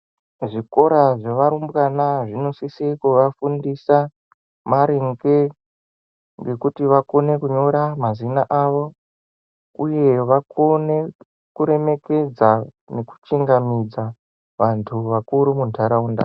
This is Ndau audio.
Zvikora zvevarubwana zvinosise kuvafundisa maringe ngekuti vakone kunyora mazina avo uye vakone kuremekedza nekuchikamidza vantu vakuru munharaunda.